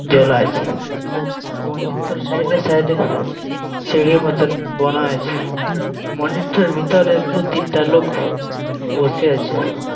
দোলাইছে মনজিরটার সাইড -এ সাইড -এ সিঁড়ি মত বানা আছে মনজিরটার ভিতরে দু-তিনটা লোক বসে আছে।